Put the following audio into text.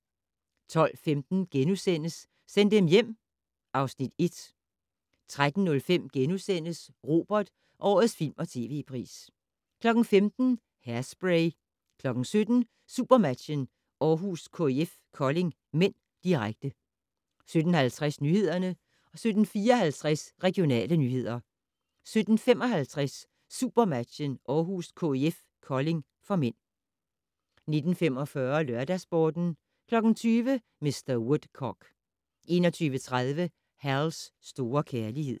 12:15: Send dem hjem (Afs. 1)* 13:05: Robert: Årets film- & tv-pris * 15:00: Hairspray 17:00: SuperMatchen: Aarhus-KIF Kolding (m), direkte 17:50: Nyhederne 17:54: Regionale nyheder 17:55: SuperMatchen: Aarhus-KIF Kolding (m) 19:45: LørdagsSporten 20:00: Mr. Woodcock 21:30: Hal's store kærlighed